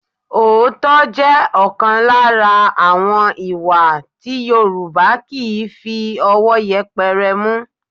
Òótọ́ jẹ́ ọ̀kan lára àwọn ìwà tí Yorùbá kì í fi ọwọ́ yẹpẹrẹ mú